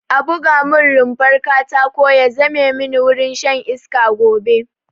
A buga mun rumfar katako ya zame mini wurin shan iska gobe